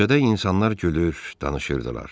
Küçədə insanlar gülür, danışırdılar.